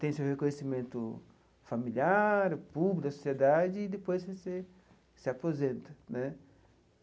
tem o seu reconhecimento familiar, público, da sociedade, e depois você se aposenta né.